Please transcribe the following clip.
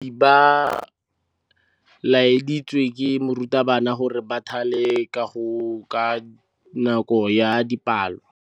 Baithuti ba laeditswe ke morutabana gore ba thale kagô ka nako ya dipalô.